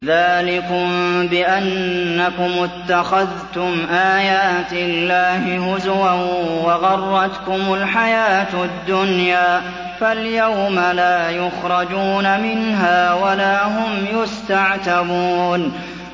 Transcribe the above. ذَٰلِكُم بِأَنَّكُمُ اتَّخَذْتُمْ آيَاتِ اللَّهِ هُزُوًا وَغَرَّتْكُمُ الْحَيَاةُ الدُّنْيَا ۚ فَالْيَوْمَ لَا يُخْرَجُونَ مِنْهَا وَلَا هُمْ يُسْتَعْتَبُونَ